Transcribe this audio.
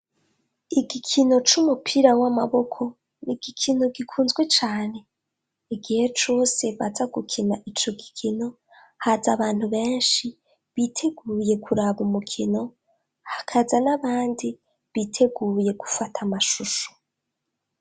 Igikino c'umupira w'amaboko ni igikino gikunzwe cane. Igihe cose baza gukina ico gikino, haza abantu benshi biteguye kuraba umukino, hakaza n'abandi biteguye gufata amashusho.